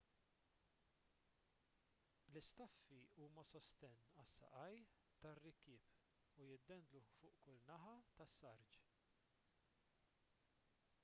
l-istaffi huma sostenn għas-saqajn tar-rikkieb li jiddendlu fuq kull naħa tas-sarġ